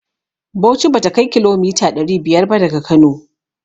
Bauchi bata kai kilomita ɗari biyar ba daga Kano.